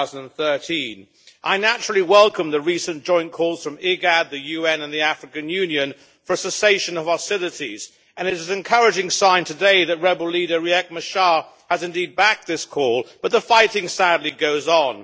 2013. I naturally welcome the recent joint calls from IGAD, the UN and the African Union for a cessation of hostilities, and it is an encouraging sign today that rebel leader Riek Machar has indeed backed this call, but the fighting sadly goes on.